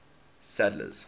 sadler's